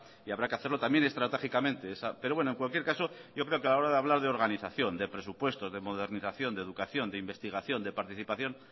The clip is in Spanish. y habrá que hacerlo también estratégicamente pero bueno en cualquier caso yo creo que a la hora de hablar de organización de presupuestos de modernización de educación de investigación de participación